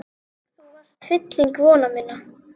Þú varst fylling vona minna.